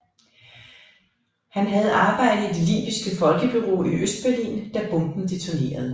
Han havde arbejdet i det libyske folkebureau i Østberlin da bomben detonerede